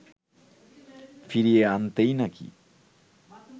ফিরিয়ে আনতেই নাকি